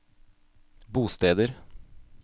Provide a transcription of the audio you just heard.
bosteder